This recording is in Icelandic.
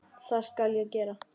Það skal ég gera.